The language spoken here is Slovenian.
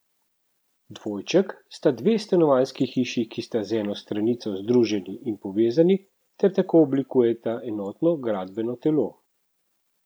Dvojček sta dve stanovanjski hiši, ki sta z eno stranico združeni in povezani ter tako oblikujeta enotno gradbeno telo.